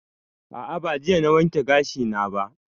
A'a ba jiya na wanke gashi na ba